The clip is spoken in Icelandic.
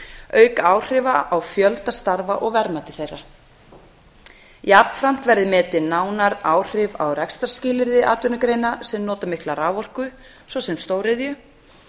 auk áhrifa á fjölda starfa og verðmæti þeirra jafnframt verði metin nánar áhrif á rekstrarskilyrði atvinnugreina sem nota mikla raforku á stóriðju